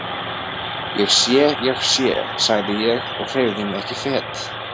Ég sé, ég sé, sagði ég og hreyfði mig ekki fet.